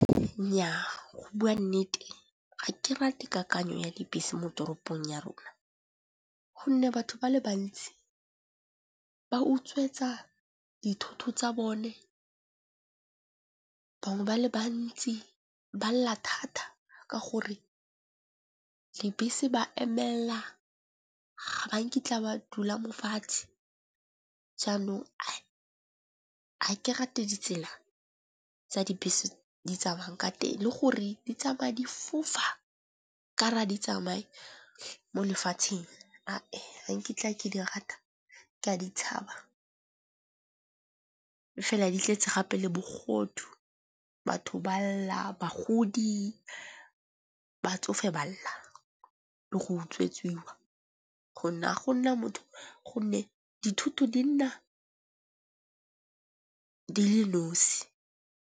Nnya, go bua nnete ga ke rate kakanyo ya dibese mo toropong ya rona. Gonne batho ba le bantsi ba utswetsa dithoto tsa bone bangwe ba le bantsi ba lla thata ka gore le bese ba emella, ga nkitla ba dula mo fatshe jaanong ga ke rate ditsela tsa dibese di tsamaya ka teng. Le gore di tsamaya di fofa ka ra di tsamaye mo lefatsheng ga nkitla ke di rata ke a di tshaba. E fela di tletse gape le bogodu batho ba lla, bagodi, batsofe ba lla le go utswetsiwa gonne ga gona motho gonne dithuto di nna di le nosi.